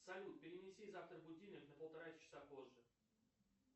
салют перенеси завтра будильник на полтора часа позже